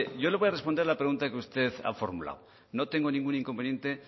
yo le voy a responder a la pregunta que usted ha formulado no tengo ningún inconveniente